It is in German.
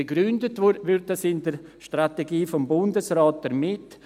Begründet wird dies in der Strategie des Bundesrates damit: